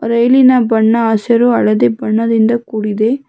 ರೈಲಿನ ಬಣ್ಣ ಹಸಿರು ಹಳದಿ ಬಣ್ಣದಿಂದ ಕೂಡಿದೆ.